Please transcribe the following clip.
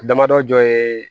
Damadɔ ye